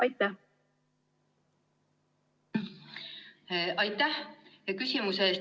Aitäh küsimuse eest!